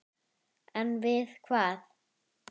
En við hvað?